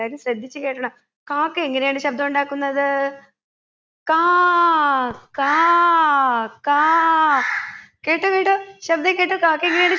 എല്ലാവരും ശ്രദ്ധിച്ച് കേട്ടോണം കാക്ക എങ്ങനെയാണ് ശബ്‌ദം ഉണ്ടാക്കുന്നത് കാ കാ കാ കേട്ടോ കേട്ടോ ശബ്‌ദം കേട്ടോ കാക്ക എങ്ങനെയാണ്